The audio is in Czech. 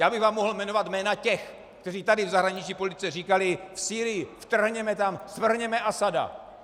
Já bych vám mohl jmenovat jména těch, kteří tady v zahraniční politice říkali: v Sýrii, vtrhněme tam, svrhněme Asada!